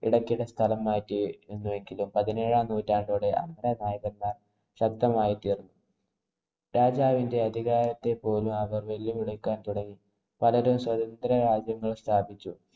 ഇടയ്ക്കിടെ സ്ഥലം മാറ്റിയിരുന്നുവെങ്കിലും പതിനേഴാം നൂറ്റാണ്ടോടെ അമരനായകന്മാര്‍ ശബ്ദമായി തീര്‍ന്നു. രാജാവിന്‍റെ അധികാരത്തെ പോലും അവര്‍ വെല്ലുവിളിക്കാന്‍ തുടങ്ങി. പലരും സ്വതന്ത്ര രാജ്യങ്ങള്‍ സ്ഥാപിച്ചു.